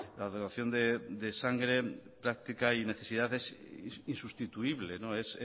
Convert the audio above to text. la donación de sangre práctica y de necesidades es insustituible